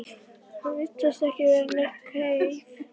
Hann virtist ekki vera nein kveif?